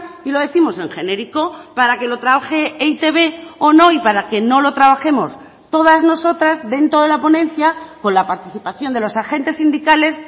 y lo décimos en genérico para que lo trabaje e i te be o no y para que no lo trabajemos todas nosotras dentro de la ponencia con la participación de los agentes sindicales